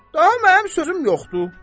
Daha mənim sözüm yoxdur.